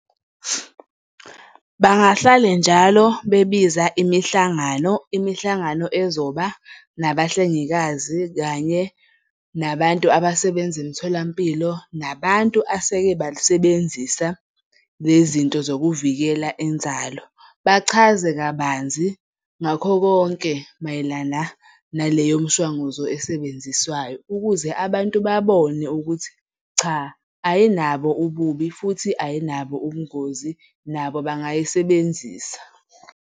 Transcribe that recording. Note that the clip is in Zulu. Bangahlale njalo bebiza imihlangano, imihlangano ezoba nabahlengikazi kanye nabantu abasebenza emtholampilo nabantu aseke balisebenzisa le zinto zokuvikela inzalo. Bachaze kabanzi ngakho konke mayelana naleyo mshwanguzo esebenziswayo. Ukuze abantu babone ukuthi cha, ayinabo ububi futhi ayinabo ubungozi nabo bangayisebenzisa.